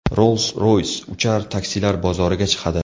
Rolls-Royce uchar taksilar bozoriga chiqadi.